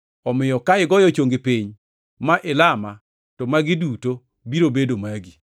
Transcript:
Omiyo ka igoyo chongi piny ma ilama, to magi duto biro bedo magi.”